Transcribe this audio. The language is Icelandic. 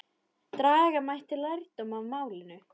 Draga mætti lærdóm af málinu.